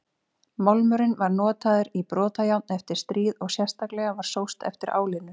Málmurinn var notaður í brotajárn eftir stríð og sérstaklega var sóst eftir álinu.